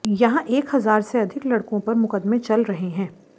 यहां एक हजार से अधिक लड़कों पर मुकदमे चल रहे हैं